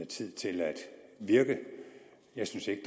tid til at virke jeg synes ikke